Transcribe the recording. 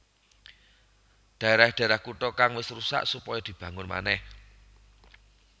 Dhaerah dhaerah kutha kang wis rusak supaya dibangun manèh